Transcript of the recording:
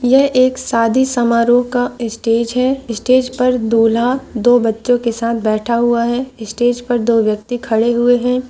यह एक शादी समारोह का स्टेज है स्टेज पर दूल्हा दो बच्छे के साथ बैठा हुआ है स्टेज पर दो व्यक्ति खड़े हुए है।